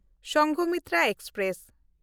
Sanghamitra express